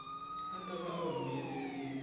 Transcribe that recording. a ta va a humelerile